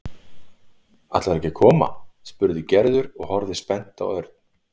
Ætlar þú ekki að koma? spurði Gerður og horfði spennt á Örn.